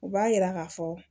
U b'a yira k'a fɔ